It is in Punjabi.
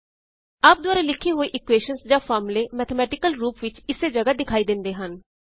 ਆਪ ਦੁਆਰਾ ਲਿੱਖੇ ਹੋਏ ਇਕੁਏਸ਼ਨ੍ਜ਼ ਜਾਂ ਫਾਰਮੂਲੇ ਮੈਥੇਮੈਟੀਕਲ ਰੂਪ ਵਿੱਚ ਇੱਸੇ ਜਗਾਹ ਵਿਖਾਈ ਦੇਂਦੇ ਹਨ